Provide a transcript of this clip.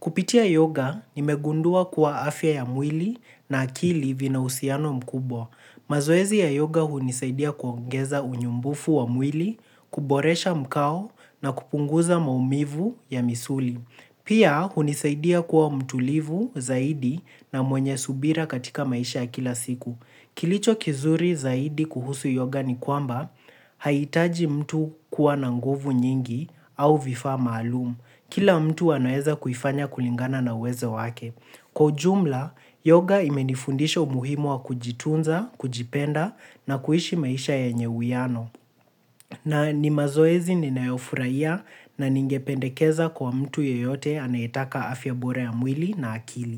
Kupitia yoga, nimegundua kuwa afya ya mwili na akili vina uhusiano mkubwa. Mazoezi ya yoga hunisaidia kuongeza unyumbufu wa mwili, kuboresha mkao na kupunguza maumivu ya misuli. Pia, hunisaidia kuwa mtulivu zaidi na mwenye subira katika maisha ya kila siku. Kilicho kizuri zaidi kuhusu yoga ni kwamba, haihitaji mtu kuwa na nguvu nyingi au vifaa maalumu. Kila mtu anaweza kuifanya kulingana na uwezo wake. Kwa ujumla, yoga imenifundisha umuhimu wa kujitunza, kujipenda na kuishi maisha yenye uwiano na ni mazoezi ninayofurahia, na ningependekeza kwa mtu yeyote anayetaka afya bora ya mwili na akili.